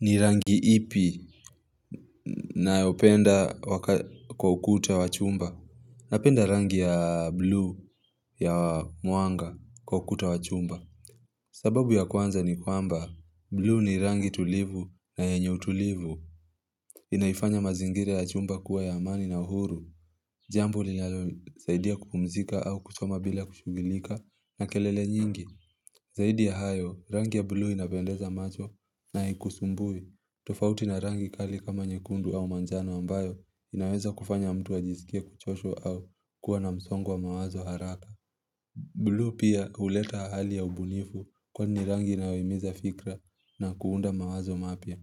Ni rangi ipi naopenda kwa ukuta wachumba Napenda rangi ya buluu ya mwanga kwa ukuta wachumba sababu ya kwanza ni kwamba Buluu ni rangi tulivu na yenyeutulivu Inaifanya mazingira ya chumba kuwa ya amani na uhuru Jambo linlosaidia kupumzika au kusoma bila kushughuilika na kelele nyingi Zaidi ya hayo rangi ya buluu inapendeza macho na haikusumbui tofauti na rangi kali kama nyekundu au manjano ambayo inaweza kufanya mtu wa jisikia kuchosha au kuwa na msongo mawazo haraka. Buluu pia huleta hali ya ubunifu kwani rangi inayoimiza fikira na kuunda mawazo mapya.